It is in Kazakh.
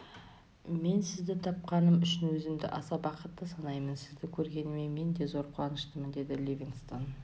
мен сізді тапқаным үшін өзімді аса бақытты санаймын сізді көргеніме мен де зор қуаныштымын деді ливингстон